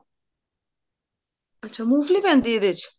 ਅੱਛਾ ਮੂੰਗਫਲੀ ਪੈਂਦੀ ਹੈ ਇਹਦੇ ਵਿੱਚ